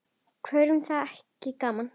Hverjum þætti það ekki gaman?